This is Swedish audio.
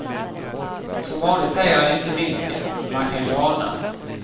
Som vanligt säger han inte vilken, men man kan ju ana.